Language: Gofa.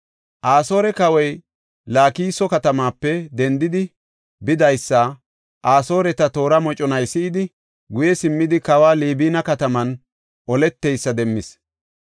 Asoore kawoy Laakiso katamaape dendidi bidaysa Asooreta toora moconay si7idi, guye simmidi kawoy Libina kataman oleteysa demmis.